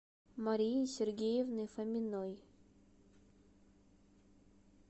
марии сергеевны фоминой